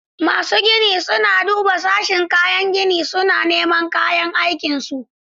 Masu ginin sun duba sashin kayan gini, suna neman kayan aikin su.